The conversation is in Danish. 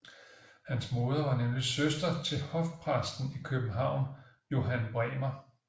Hans moder var nemlig søster til hofpræsten i København Johan Bremer